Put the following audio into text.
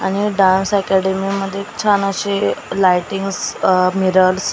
आणि dance academy मध्ये छान असे लाइटिंग्स मिरर्स --